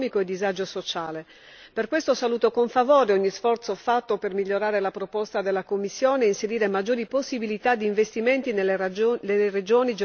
Per questo saluto con favore ogni sforzo fatto per migliorare la proposta della Commissione e inserire maggiori possibilità di investimenti nelle regioni geograficamente svantaggiate.